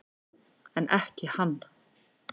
En ekki hann.